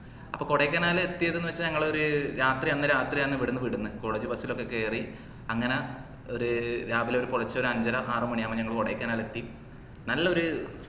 അപ്പൊ കൊടൈക്കനാൽ എത്തിയെത് ന്നു വച്ചാൽ ഞങ്ങളൊരു രാത്രി അന്ന് രാത്രി ആണ് ഇവിടന്ന് വിടുന്നെ college bus ലോക്കെ കേറി അങ്ങന ഒര് രാവില ഒരു പൊലർച്ച ഒരു അഞ്ചര ആറുമണി ആവുമ്പൊ നമ്മളു കൊടൈക്കനാലിൽ എത്തി നല്ല ഒര്